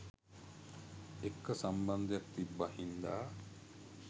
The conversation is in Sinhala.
එක්ක සම්බන්ධයක් තිබ්බ හින්දා.